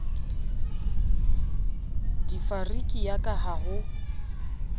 difariki ya ka ha ho